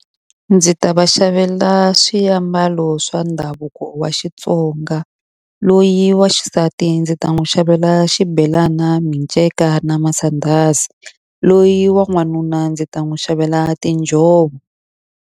Ndzi ta va xavela swiambalo swa ndhavuko wa Xitsonga. Loyi wa xisati ndzi ta n'wi xavela xibelana, minceka, na masandhazi. Loyi wa n'wanuna ndzi ta n'wi xavela tinjhovo.